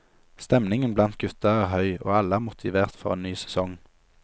Stemningen blant gutta er høy, og alle er motivert for en ny sesong.